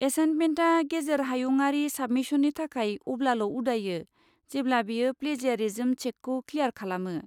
एसाइन्टमेन्टआ गेजेर हायुंआरि साबमिशननि थाखाय अब्लाल' उदायो, जेब्ला बियो प्लेजियारिज्म चेकखौ क्लियार खालामो।